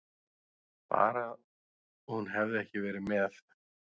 Bara hún hefði ekki verið með.